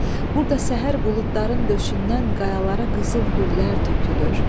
Burda səhər buludların döşündən qayalara qızıl güllər tökülür.